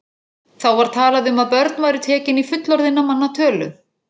Þá var talað um að börn væru tekin í fullorðinna manna tölu.